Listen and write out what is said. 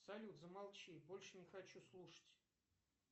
салют замолчи больше не хочу слушать